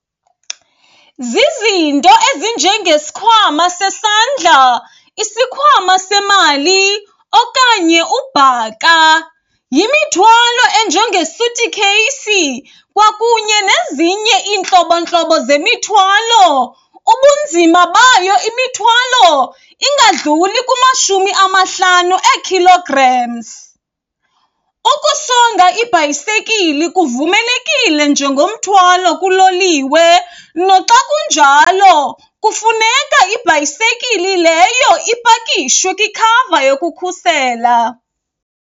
Zizinto ezinjengesikhwama sesandla, isikhwama semali okanye ubhaka. Yimithwalo enjengesutikheyisi kwakunye nezinye iintlobontlobo zemithwalo. Ubunzima bayo imithwalo ingadluli kumashumi amahlanu ee-kilograms. Ukusonga ibhayisekili kuvumelekile njengomthwalo kuloliwe, noxa kunjalo kufuneka ibhayisekili leyo ipakishwe kwikhava yokukhusela.